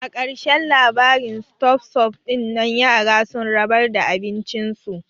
A ƙarashen labarin ston sup dinnan yara sun rabar da abin cin su